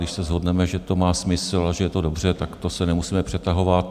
Když se shodneme, že to má smysl a že je to dobře, tak to se nemusíme přetahovat.